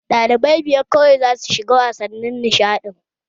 Dalibai biyar kawai za su shiga wasannin nishaɗin!